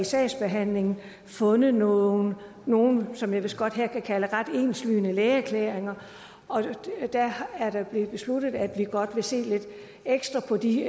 sagsbehandlingen fundet nogle nogle som jeg vistnok her godt kan kalde ret enslydende lægeerklæringer og det er blevet besluttet at vi godt vil se lidt ekstra på de